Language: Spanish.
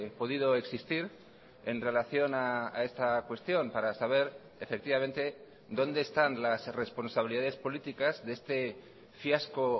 podido existir en relación a esta cuestión para saber efectivamente dónde están las responsabilidades políticas de este fiasco